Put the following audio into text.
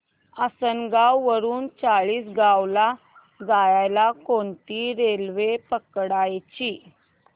आसनगाव वरून चाळीसगाव ला जायला कोणती रेल्वे पकडायची